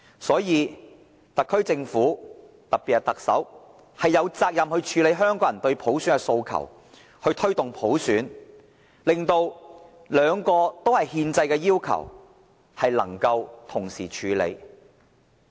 因此，特區政府，特別是特首，有責任處理香港人對普選的訴求，要推動普選，令兩個憲制要求能夠同時處理。